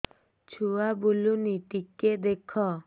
ଛୁଆ ବୁଲୁନି ଟିକେ ଦେଖ